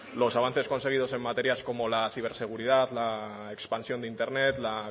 los avances conseguidos en materias como la ciberseguridad la expansión de internet la